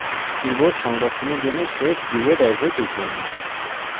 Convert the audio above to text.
keyboard সংরক্ষণের জন্য save keyboard as এ টিপুন